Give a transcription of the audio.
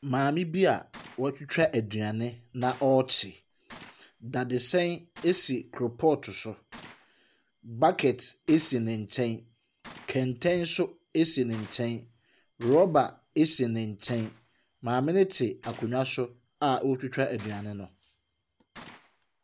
Maame bi a ɔretwitwa aduane na ɔrekye, dadesɛn asi koropɔɔto so. Bucket asi ne nkyɛn, kɛntɛn nso asi ne nkyɛn. Rɔba asi ne nkyɛn. Maame no ɛte akonnwa so a ɔretwitwa aduane no.